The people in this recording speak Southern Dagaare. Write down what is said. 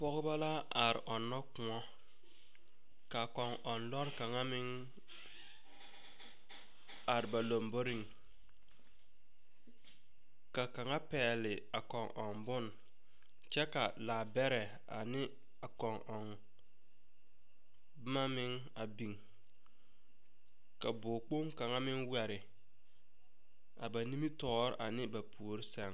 Pɔgeba la are ɔnnɔ kõɔ, ka kɔŋ-ɔŋ lɔre kaŋa meŋ, are ba lamboriŋ, ka kaŋa pɛgele a kɔŋ-ɔŋ bone kyɛ ka laabɛrɛ ane a kɔŋ-ɔŋ boma meŋ a biŋ. Ka bog-kpoŋ kaŋa meŋ wɛre, a ba nimitɔɔre ane ba lambori sɛŋ.